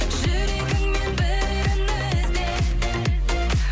жүрегіңнен бірін ізде